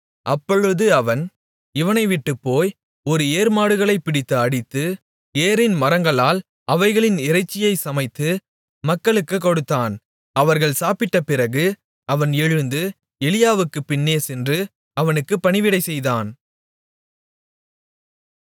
அப்பொழுது அவன் இவனை விட்டுப் போய் ஒரு ஏர் மாடுகளைப் பிடித்து அடித்து ஏரின் மரங்களால் அவைகளின் இறைச்சியைச் சமைத்து மக்களுக்குக் கொடுத்தான் அவர்கள் சாப்பிட்டபிறகு அவன் எழுந்து எலியாவுக்குப் பின்னேசென்று அவனுக்கு பணிவிடைசெய்தான்